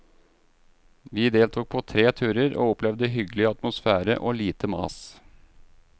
Vi deltok på tre turer, og opplevde hyggelig atmosfære og lite mas.